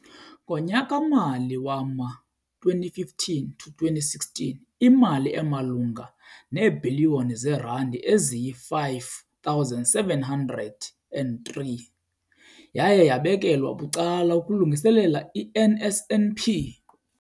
Ngonyaka-mali wama-2015 to 2016, imali emalunga neebhiliyoni zeerandi eziyi-5 703 yaye yabekelwa bucala ukulungiselela i-NSNP.